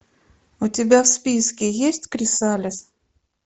у тебя в списке есть крисалис